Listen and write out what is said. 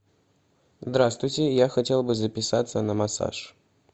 здравствуйте я хотел бы записаться на массаж